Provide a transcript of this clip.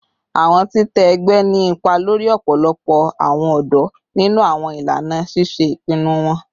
Awọn titẹ ẹgbẹ ni ipa lori ọpọlọpọ awọn ọdọ ninu awọn ilana ṣiṣe ipinnu wọn